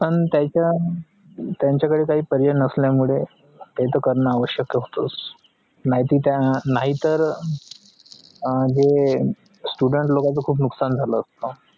पण त्याचं त्यांच्या कडे काय पर्याय नसला मुळे हे तर करीन आवश्यकत होतस नाही तर हे students लोक चा खुप नुकसन झाल असता